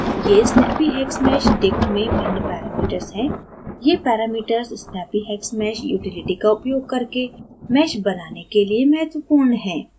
ये snappyhexmeshdict में भिन्न parameters हैं ये parameters snappyhexmesh utility का उपयोग करके mesh बनाने के लिए महत्वपूर्ण हैं